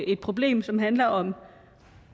et problem som handler om